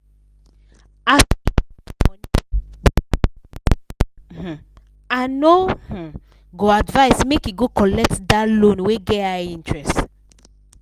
as e get money wahala um i no um go advise make e go collect that loan wey get high interest.